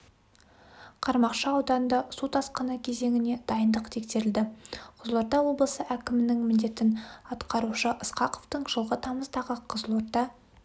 қармақшы ауданданында су тасқыны кезеңіне дайындық тексерілді қызылорда облысы әкімінің міндетін атқарушы ысқақовтың жылғы тамыздағы қызылорда